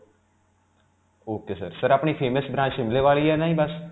ok sir. sir ਆਪਣੀ famous branch Shimla ਵਾਲੀ ਹੈ ਨ ਜੀ ਬਸ?